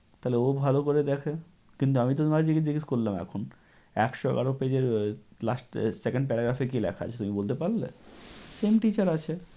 তাহলে ও ভালো করে দেখে। কিন্তু আমি তোমাকে জিজ্ঞে~ জিজ্ঞেস করলাম এখন, একশো এগারো page এর last এ second paragraph এ কী লেখা আছে তুমি বলতে পারলে? Same teacher আছে।